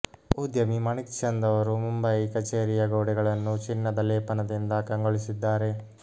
ಉದ್ಯಮಿ ಮಾಣಿಕ್ಚಂದ್ ಅವರು ಮುಂಬಯಿ ಕಚೇರಿಯ ಗೋಡೆಗಳನ್ನು ಚಿನ್ನದ ಲೇಪನದಿಂದ ಕಂಗೊಳಿಸಿದ್ದಾರೆ